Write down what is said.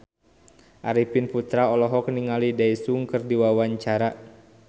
Arifin Putra olohok ningali Daesung keur diwawancara